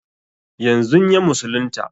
Yanzun ya musulunta